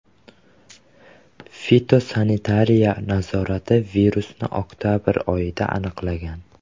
Fitosanitariya nazorati virusni oktabr oyida aniqlagan.